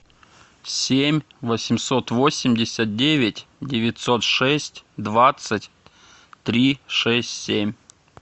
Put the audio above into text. семь восемьсот восемьдесят девять девятьсот шесть двадцать три шесть семь